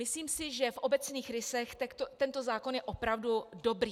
Myslím si, že v obecných rysech tento zákon je opravdu dobrý.